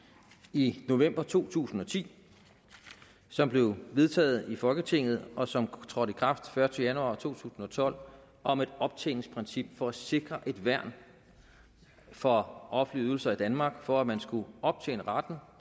i november to tusind og ti som blev vedtaget i folketinget og som trådte i kraft den første januar to tusind og tolv om et optjeningsprincip for at sikre et værn for offentlige ydelser i danmark for at man skulle optjene retten